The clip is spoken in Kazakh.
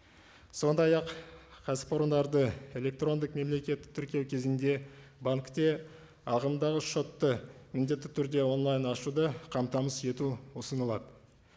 сондай ақ кәсіпорындарды электрондық мемлекеттік тіркеу кезінде банкте ағымдағы шотты міндетті түрде онлайн ашуды қамтамасыз ету ұсынылады